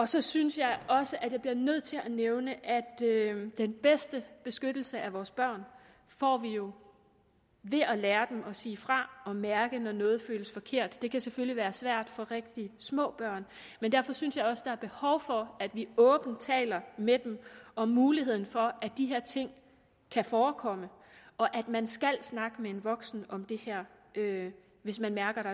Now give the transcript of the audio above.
så synes jeg også at jeg bliver nødt til at nævne at den bedste beskyttelse af vores børn får vi jo ved at lære dem at sige fra og mærke når noget føles forkert det kan selvfølgelig være svært for rigtig små børn men derfor synes jeg også der er behov for at vi åbent taler med dem om muligheden for at de her ting kan forekomme og at man skal snakke med en voksen om det hvis man mærker